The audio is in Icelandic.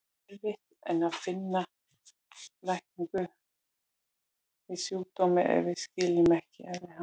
Erfitt er að finna lækningu við sjúkdómi ef við skiljum ekki eðli hans.